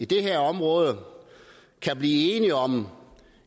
det her område kan blive enige om